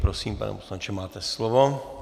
Prosím, pane poslanče, máte slovo.